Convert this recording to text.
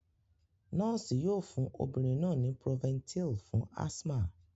Noosi yoo fun obirin naa ni Proventil fun asthma.